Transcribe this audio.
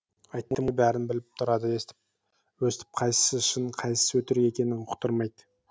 айттым ғой бәрін біліп тұрады өстіп қайсысы шын қайсысы өтірік екенін ұқтырмайды